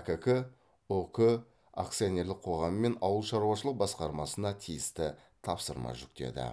әкк ұк акционерлік қоғамымен ауылшаруашылық басқармасына тиісті тапсырма жүктеді